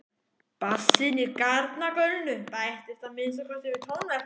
Bassinn í garnagaulinu bættist að minnsta kosti við tónverkið.